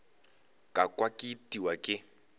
ka kwa ke itiwa ke